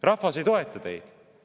Rahvas ei toeta teid.